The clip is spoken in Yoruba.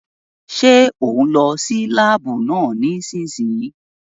Ṣé òún lọ sí láàbù náà nísìsiyìí?